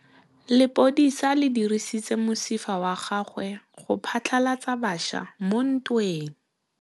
Lepodisa le dirisitse mosifa wa gagwe go phatlalatsa batšha mo ntweng.